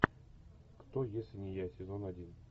кто если не я сезон один